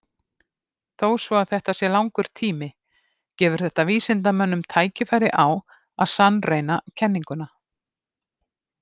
Þó svo að þetta sé langur tími gefur þetta vísindamönnum tækifæri á að sannreyna kenninguna.